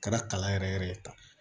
Kɛra kala yɛrɛ yɛrɛ ye